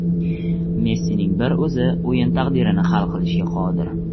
Messining bir o‘zi o‘yin taqdirini hal qilishga qodir.